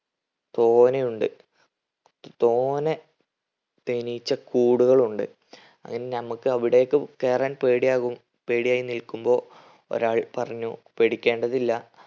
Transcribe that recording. തോനെയുണ്ട്. തോനെ തേനീച്ചക്കൂടുകൾ ഉണ്ട്. അങ്ങനെ നമ്മക്ക് അവിടേക്ക് കയറാൻ പേടിയാകും. പേടിയായി നിൽക്കുമ്പോ ഒരാൾ പറഞ്ഞു പേടിക്കേണ്ടതില്ല